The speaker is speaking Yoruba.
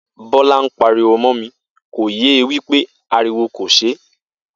Bó̩lá ń pariwo mó̩ mi, kò ye wí pé ariwo kò s̩e